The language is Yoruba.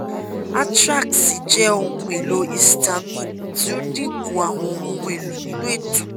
atrax jẹ ohun-elo-histamine ti o dinku awọn ohun-elo ninu eto